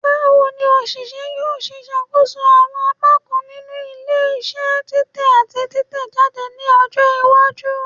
Bawo ni oṣiṣẹ yoo ṣe ṣakoso awọn apakan ninu ile-iṣẹ titẹ ati titẹjade ni ọjọ iwaju?